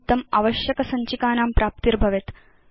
निमित्तं आवश्यकसञ्चिकानां प्राप्ति भवेत्